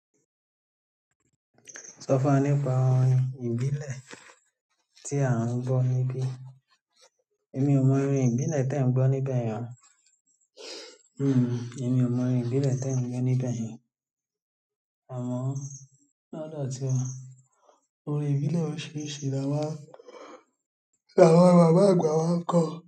Sọ fún wa nípa orin ìbílẹ̀ tí à ń gbọ́ níbí. Èmi ò mọ orin ìbílẹ̀ tẹ̀ ń gbọ́ níbẹ̀ yẹn o. Hmm, èmi ò mọ orin ìbílẹ̀ tẹ̀ ń gbọ́ níbẹ̀ yẹn. Amo lodo tiwa, o. Orin ìbílẹ̀ òrisirisi lama n, làwon bàbá àgbà wa ń kọ.